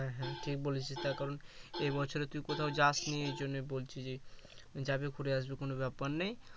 হ্যাঁ হ্যাঁ ঠিক বলেছিস তার কারন এ বছরে তুই কোথাও যাসনি এজন্যই বলছিলি যাবি ঘুরে আসবি কোনো ব্যাপার নেই